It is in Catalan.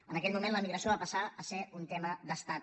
en aquell moment l’emigració va passar a ser un tema d’estat